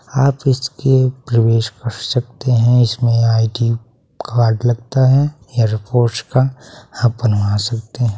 आप इसके प्रवेश कर सकते हैं इसमें आई.डी. कार्ड लगता है एयर फोर्स का आप बनवा सकते हैं।